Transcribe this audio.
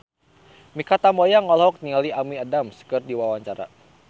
Mikha Tambayong olohok ningali Amy Adams keur diwawancara